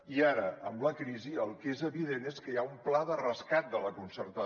i ara amb la crisi el que és evident és que hi ha un pla de rescat de la concertada